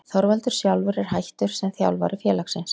Þorvaldur sjálfur er hættur sem þjálfari félagsins.